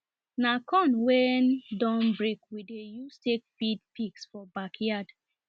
na corn wen don break we dey use take feed pigs for backyard